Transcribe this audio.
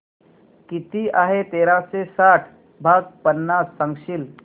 किती आहे तेराशे साठ भाग पन्नास सांगशील